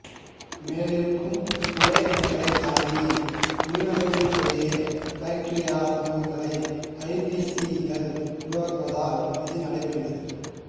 மேலிருக்கும் குடை அணுக்களை தாக்கி உயிரணுக்களுக்கிடையேயான பாக்டீரியா சமூகங்களை ஐ பீ சி கள் உருவாக்குவதால் இது நடைபெறுகிறது